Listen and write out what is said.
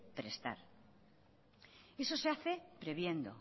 prestar eso se hace previendo